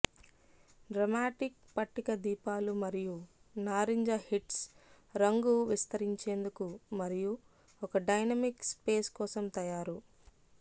dramatic పట్టిక దీపాలు మరియు నారింజ హిట్స్ రంగు విస్తరించేందుకు మరియు ఒక డైనమిక్ స్పేస్ కోసం తయారు